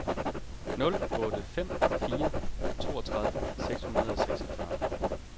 nul otte fem fire toogtredive seks hundrede og seksogfyrre